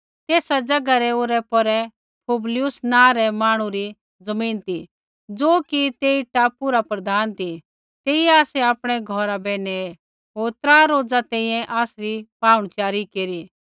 तेसा ज़ैगा रै औरैपौरै पुबलियुस नाँ रै मांहणु री ज़मीन ती ज़ो कि तेई टापू रा प्रधान ती तेइयै आसै आपणै घौरा बै नेऐ होर त्रा रोज़ा तैंईंयैं आसरी पाहुणच़ारी केरी